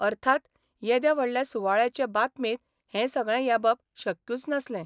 अर्थात, येद्या व्हडल्या सुवाळ्याचे बातमेंत हे सगळें येबप शक्यूच नासलें.